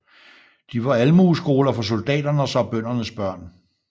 De var Almueskoler for soldaternes og bøndernes børn